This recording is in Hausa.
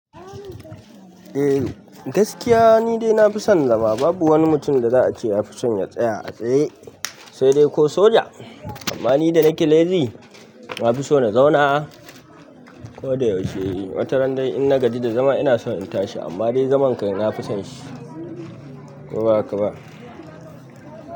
Eh gaskiya ni dai na fi son zama babu wani mutum da za a ce ya fi son ya tsaya a tsaye, sai dai ko soja. Amma ni da nake lezi na fi so na zauna ko da yaushe. Wata ran dai in na gaji da zama ina so in tashi amma dai zaman kai na fi son shi. Ko ba haka ba?